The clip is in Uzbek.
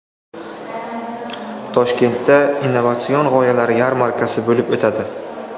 Toshkentda Innovatsion g‘oyalar yarmarkasi bo‘lib o‘tadi.